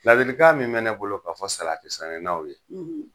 Laadilikan min bɛ ne bolo k'a fɔ salati sɛnɛnaw ye,